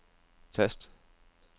tast